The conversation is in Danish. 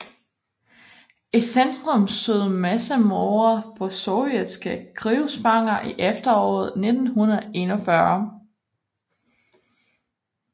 I centrum stod massemordet på sovjetiske krigsfanger i efteråret 1941